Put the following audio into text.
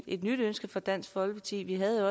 et nyt ønske fra dansk folkeparti vi havde